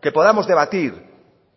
que podamos debatir